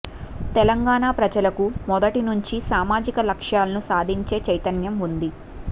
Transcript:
తెలంగాణ ప్రజలకు మొదటి నుంచీ సామాజిక లక్ష్యాలను సాధించే చైతన్యం ఉంది